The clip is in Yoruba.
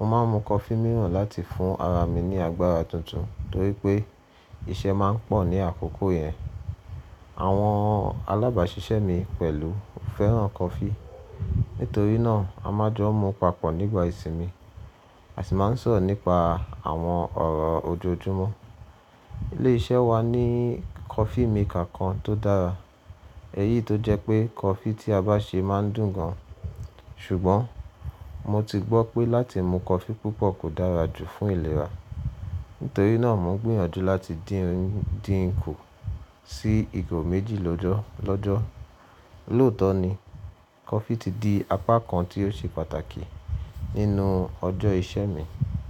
mo máa ń mu coffee mìíràn láti fún ara mi ní agbára tuntun torí pé iṣẹ́ máa ń pọ̀ ní àkókò yẹn. Àwọn alábàáṣiṣẹ́ mi pẹ̀lú fẹ́ràn coffee, nítorí náà a máa jọ mu papọ̀ nígbà ìsinmi a sì máa ń sọ̀rọ̀ nípa àwọn ọ̀rọ̀ ojoojúmọ́. Ilé iṣẹ́ wa ní coffee maker kan tó dára, èyí tó jẹ́ pé coffee tí a bá ṣe máa ń dùn gan. Ṣùgbọ́n mo ti gbọ́ pé láti mu coffee púpọ̀ kò dára jù fún ìlera. Nítorí náà mo ń gbìyànjú láti dín ń dí ń kù sí ìgò méjì lojọ́ lọ́jọ́. Loto ni coffee ti di apá kan tí ó ṣe pàtàkì nínú ọjọ́ iṣẹ́ mi.